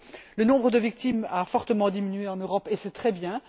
Le nombre de victimes a fortement diminué en Europe, et c'est très bien.